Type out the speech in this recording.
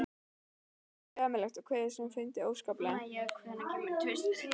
Mér fannst þetta ömurlegt og kveið þessum fundum óskaplega.